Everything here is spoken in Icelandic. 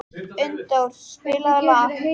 Unndór, spilaðu lag.